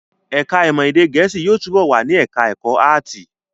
Ẹ̀ká ìmọ̀ èdè Gẹ̀ẹ́sì yóò túbọ̀ wà ní ẹ̀ká ẹ̀kọ́ áàtì